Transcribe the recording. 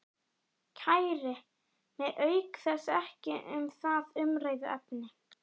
Kæri mig auk þess ekki um það umræðuefni.